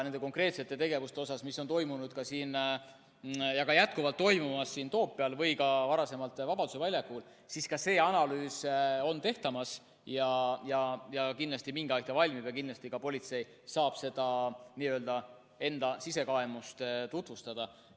Nende konkreetsete tegevuste kohta, mis on toimunud ja ka jätkuvalt toimuvad siin Toompeal või ka varasemalt toimusid Vabaduse väljakul, on see analüüs tegemisel, kindlasti mingi aeg see valmib ja ka politsei saab enda sisekaemust tutvustada.